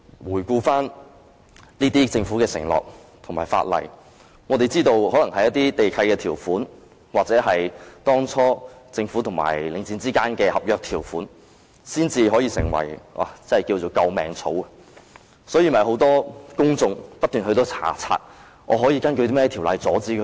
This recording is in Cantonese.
回顧政府的承諾和翻看法例，我們知道可能唯有地契條款或當初政府與領匯之間的合約條款，才能成為"救命草"，所以，很多公眾不斷翻查可以根據甚麼條例阻止他們。